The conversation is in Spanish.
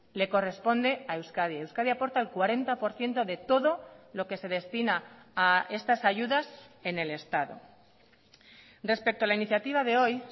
le corresponde a euskadi euskadi aporta el cuarenta por ciento de todo lo que se destina a estas ayudas en el estado respecto a la iniciativa de hoy